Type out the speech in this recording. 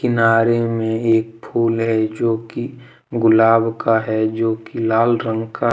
किनारे में एक फूल है जो की गुलाब का है जो की लाल रंग का--